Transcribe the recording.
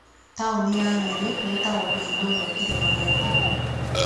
Taũni ya Nyeri ĩĩtagwo kĩhingo kĩa Kĩrĩma gĩa Kenya.